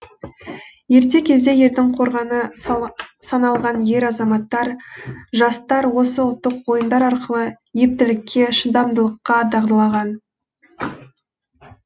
ерте кезде елдің қорғаны саналған ер азаматтар жастар осы ұлттық ойындар арқылы ептілікке шыдамдылыққа дағдылаған